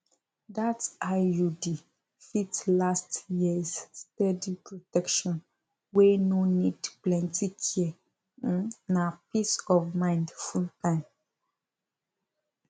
that iud fit last years steady protection wey no need plenty care um na peace of mind fulltime